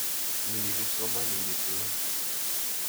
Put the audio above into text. Mi yu kipsomaninik lo.